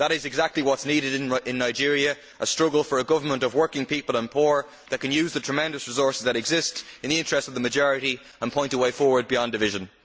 That is exactly what is needed in Nigeria, a struggle for a government of working people and poor that can use the tremendous resources that exist in the interests of the majority and point the way forward beyond division.